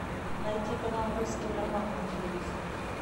найти канал русский роман на телевизоре